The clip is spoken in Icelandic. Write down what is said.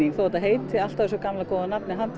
þó að þetta heiti alltaf þessu gamla góða nafni